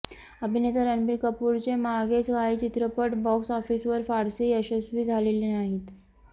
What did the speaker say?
अभिनेता रणबीर कपूरचे मागचे काही चित्रपट बॉक्स ऑफिसवर फारसे यशस्वी झालेले नाहीत